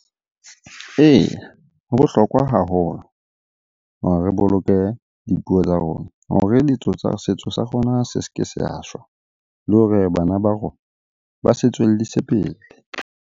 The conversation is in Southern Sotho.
Eya, ho bohlokwa haholo hore re boloke dipuo tsa rona hore setso sa rona se se ke sa shwa. Le hore bana ba rona ba se tswellise pele.